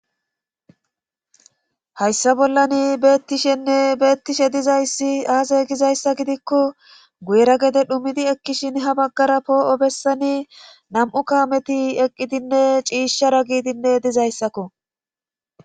hayssa bollan beettishenne beettishe dizayssi aase gizayssa gidikko guera gede dhumidi ekkishin ha baggara poo7o bessani nam7u kaameti eqqidinne ciishshara giidinne dizayssakko